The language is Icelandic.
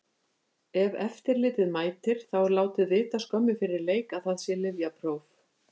Ef eftirlitið mætir, þá er látið vita skömmu fyrir leik að það sé lyfjapróf.